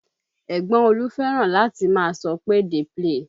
Ẹ̀gbọ́n Olú fẹ́ràn láti máa sọ pé "dey play"